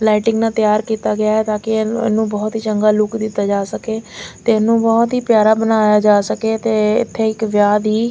lighting ਨਾਲ ਤਿਆਰ ਕੀਤਾ ਗਿਆ ਤਾਂ ਕਿ ਇਹਨੂੰ ਬਹੁਤ ਹੀ ਚੰਗਾ ਲੂਕ ਦਿੱਤਾ ਜਾ ਸਕੇ ਤੇ ਇਹਨੂੰ ਬਹੁਤ ਹੀ ਪਿਆਰਾ ਬਣਾਇਆ ਜਾ ਸਕੇ ਤੇ ਇਥੇ ਇੱਕ ਵਿਆਹ ਦੀ--